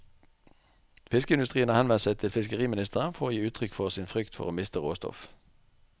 Fiskeindustrien har henvendt seg til fiskeriministeren for å gi uttrykk for sin frykt for å miste råstoff.